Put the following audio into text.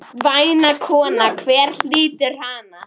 Væna konu, hver hlýtur hana?